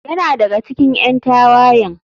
Yana daga cikin ƴan tawayen.